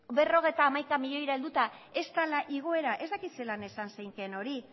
berrogeita hamaika milioira heldura ez dela igoera ez dakit zelan esan zeinkeen hori